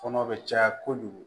Fɔnɔ bɛ caya kojugu